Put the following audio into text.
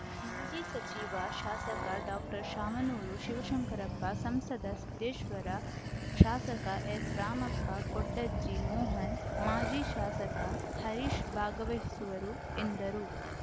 ಮಾಜಿ ಸಚಿವ ಶಾಸಕ ಡಾಕ್ಟರ್ ಶಾಮನೂರು ಶಿವಶಂಕರಪ್ಪ ಸಂಸದ ಸಿದ್ದೇಶ್ವರ ಶಾಸಕ ಎಸ್‌ ರಾಮಪ್ಪ ಕೊಂಡಜ್ಜಿ ಮೋಹನ್‌ಮಾಜಿ ಶಾಸಕ ಹರೀಶ್‌ ಭಾಗವಹಿಸುವರು ಎಂದರು